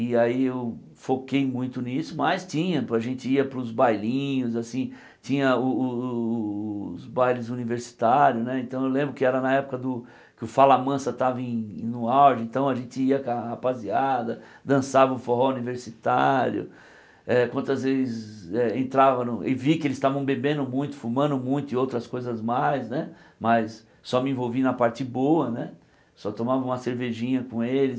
e aí eu foquei muito nisso, mas tinha, pô a gente ia para os bailinhos assim, tinha o o o o os bailes universitários né, então eu lembro que era na época do que o Fala Mansa estava em no auge, então a gente ia com a rapaziada, dançava o forró universitário eh, quantas vezes eh entrava no, e vi que eles estavam bebendo muito, fumando muito e outras coisas mais né, mas só me envolvi na parte boa né, só tomava uma cervejinha com eles,